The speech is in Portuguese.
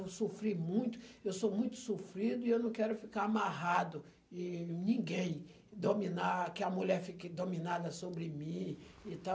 Eu sofri muito, eu sou muito sofrido e eu não quero ficar amarrado e ninguém dominar, que a mulher fique dominada sobre mim e tal.